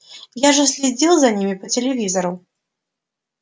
я же следил за ними по телевизору